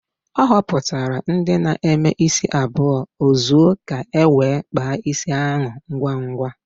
O hopụtara ndi na-eme isi abuo ozo ka e nwee kpaa isi ahu ngwa ngwa